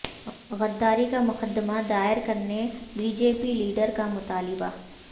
غداری کا مقدمہ دائر کرنے بی جے پی لیڈر کا مطالبہ